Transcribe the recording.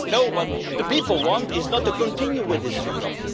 No, what the people want is not to continue with this Europe.